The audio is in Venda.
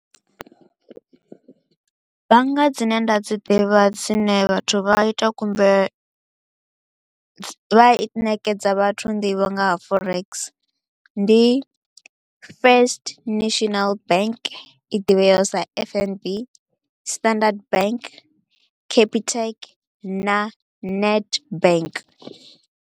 Bannga dzine nda dzi ḓivha dzine vhathu vha a ita khumbelo vha i ṋekedza vhathu nḓivho nga ha forex, ndi First National Bank i divheaho sa F_N_B, Standard Bank, Capitec na Nedbank.